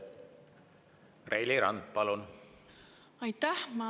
Reili Rand, palun!